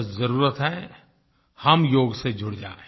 बस ज़रूरत है हम योग से जुड़ जाएँ